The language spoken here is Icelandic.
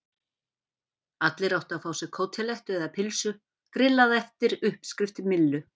Allir áttu að fá sér kótelettu eða pylsu grillaða eftir uppskrift Millu.